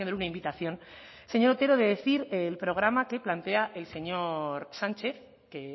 una invitación señor otero de decir el programa que plantea el señor sánchez que